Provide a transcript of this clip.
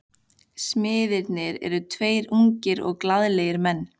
Smiðirnir eru tveir ungir og glaðlegir menn.